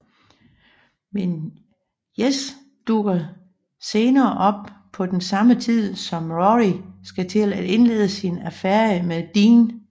Men Jess dukker senere op på samme tid som Rory skal til at indlede sin affære med Dean